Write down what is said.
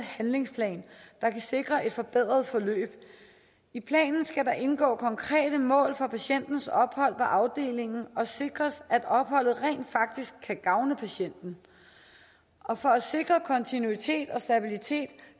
handlingsplan der kan sikre et forbedret forløb i planen skal der indgå konkrete mål for patientens ophold på afdelingen og sikres at opholdet rent faktisk kan gavne patienten og for at sikre kontinuitet og stabilitet